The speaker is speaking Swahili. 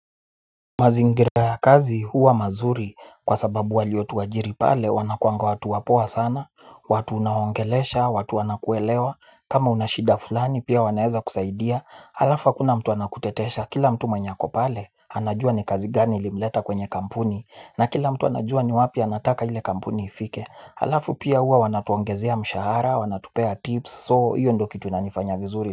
Mazingira ya kazi huwa mazuri kwa sababu waliotuajiri pale wanakuanga watu wapoa sana. Watu unaongelesha, watu wanakuelewa, kama unashida fulani pia wanaeza kusaidia. Halafu hakuna mtu anakutetesha, kila mtu mwenye ako pale anajua ni kazi gani ilimleta kwenye kampuni. Na kila mtu anajua ni wapi anataka ile kampuni ifike. Halafu pia huwa wanatuongezea mshahara, wanatupea tips, soo hiyo ndo kitu inanifanya vizuri.